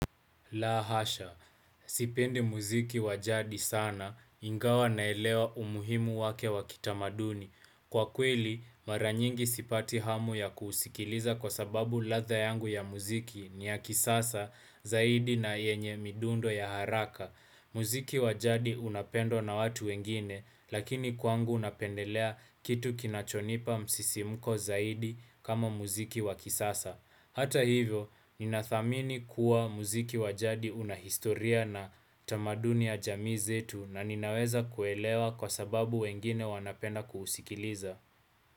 Laa hasha, sipendi muziki wa jadi sana ingawa naelewa umuhimu wake wa kitamaduni. Kwa kweli mara nyingi sipati hamu ya kusikiliza kwa sababu ladha yangu ya muziki ni ya kisasa zaidi na yenye midundo ya haraka. Muziki wa jadi unapendwa na watu wengine, lakini kwangu napendelea kitu kinachonipa msisimuko zaidi kama muziki wakisasa. Hata hivyo, ninathamini kuwa muziki wa jadi unahistoria na tamaduni ya jamii zetu na ninaweza kuelewa kwa sababu wengine wanapenda kuhusikiliza.